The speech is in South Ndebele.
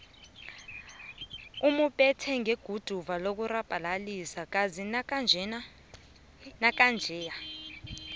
umubethe ngeguduva lokurabhalisa kazi nakanjeya